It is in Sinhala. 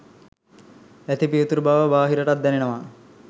ඇති පිවිතුරු බව බාහිරටත් දැනෙනවා.